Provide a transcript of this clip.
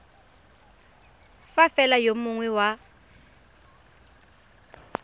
fa fela yo mongwe wa